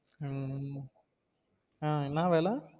உம் ஆஹ் என்னா வேல?